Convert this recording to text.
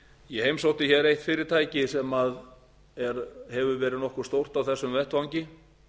ég heimsótti hér eitt fyrirtæki sem hefur verið nokkuð stórt á þessum vettvangi